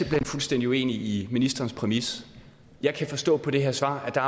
hen fuldstændig uenig i ministerens præmis jeg kan forstå på det her svar at